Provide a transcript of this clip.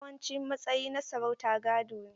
Yawancin matsayi na sarauta gado ne.